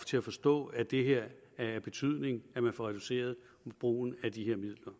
til at forstå at det er af betydning at man reducerer brugen af de her midler